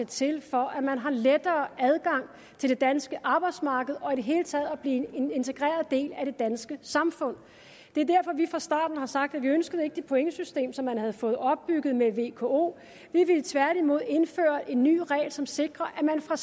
til for at man har lettere adgang til det danske arbejdsmarked og i det hele taget blive en integreret del af det danske samfund det er derfor vi fra starten har sagt at vi ikke ønskede det pointsystem som man havde fået opbygget med vko vi ville tværtimod indføre en ny regel som sikrer at man fra